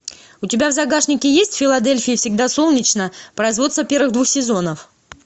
у тебя в загашнике есть в филадельфии всегда солнечно производство первых двух сезонов